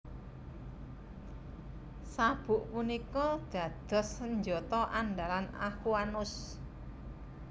Sabuk punika dados senjata andalan Aquanus